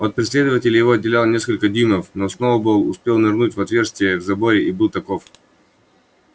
от преследователей его отделяло несколько дюймов но сноуболл успел нырнуть в отверстие в заборе и был таков